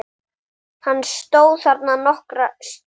Hann stóð þarna nokkra stund.